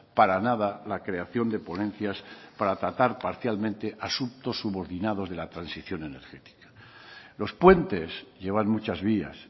para nada la creación de ponencias para tratar parcialmente asuntos subordinados de la transición energética los puentes llevan muchas vías